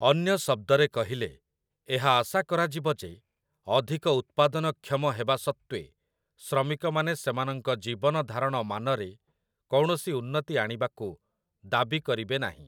ଅନ୍ୟ ଶବ୍ଦରେ କହିଲେ, ଏହା ଆଶା କରାଯିବ ଯେ ଅଧିକ ଉତ୍ପାଦନକ୍ଷମ ହେବା ସତ୍ତ୍ୱେ ଶ୍ରମିକମାନେ ସେମାନଙ୍କ ଜୀବନଧାରଣ ମାନରେ କୌଣସି ଉନ୍ନତି ଆଣିବାକୁ ଦାବି କରିବେ ନାହିଁ ।